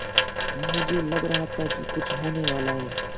मुझे लग रहा था कि कुछ होनेवाला है